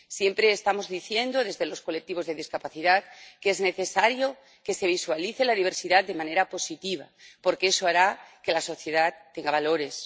Siempre estamos diciendo, desde los colectivos de discapacidad, que es necesario que se visualice la diversidad de manera positiva, porque eso hará que la sociedad tenga valores.